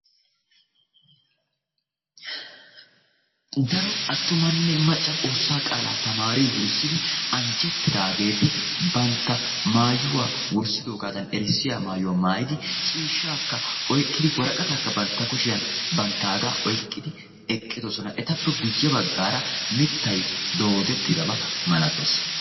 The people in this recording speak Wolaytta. Daro attumanne macca xoosssaa qaalaa taamaari wurssidi anjjettidaageti bantta maayuwaa wurssidoogan erissiyaa maayuwaa maayidi ciishshaa oyqqidi woraqataakka banttagaa oyqqidi eqqidosona. etappe guye baggaara mittay doodettidaba malattees.